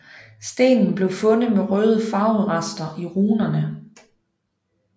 Stenen blev fundet med røde farverester i runerne